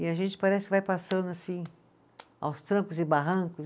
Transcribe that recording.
E a gente parece que vai passando assim, aos trancos e barrancos.